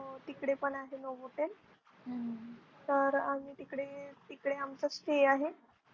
हो तिकडे पण आहे. Novotel तर आम्ही तिकडे तिकड आमच Stay आहे.